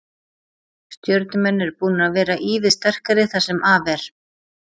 Stjörnumenn eru búnir að vera ívið sterkari það sem af er.